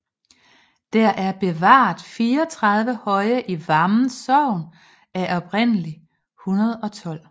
Der er bevaret 34 høje i Vammen Sogn af oprindelig 112